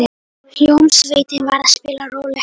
Hljómsveitin var að spila rólegt lag.